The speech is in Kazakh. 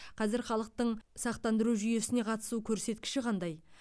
қазір халықтың сақтандыру жүйесіне қатысу көрсеткіші қандай